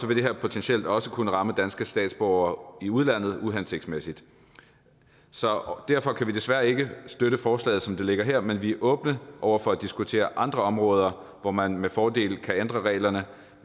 vil det her potentielt også kunne ramme danske statsborgere i udlandet uhensigtsmæssigt så derfor kan vi desværre ikke støtte forslaget som det ligger her men vi er åbne over for at diskutere andre områder hvor man med fordel kan ændre reglerne